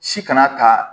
Si kana ta